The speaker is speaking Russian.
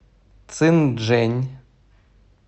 цинчжэнь